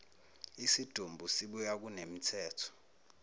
isidumbu sibuyiswa kunemithetho